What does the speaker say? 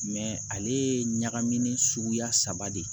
ale ye ɲagamin suguya saba de ye